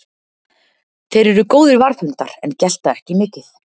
Þeir eru góðir varðhundar en gelta ekki mikið.